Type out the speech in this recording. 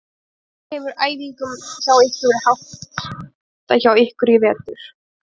Hvernig hefur æfingum hjá ykkur verið háttað hjá ykkur í vetur?